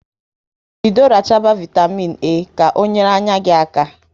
Bido rachaba vaitamịn A ka ọ nyere anya gị aka